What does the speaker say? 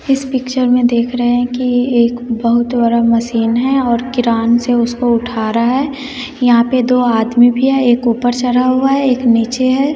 इस पिक्चर में देख रहे हैं कि एक बहुत बरा मशीन है और किरान से उसको उठा रहा है यहां पे दो आदमी भी है एक ऊपर चरा हुआ है एक नीचे है।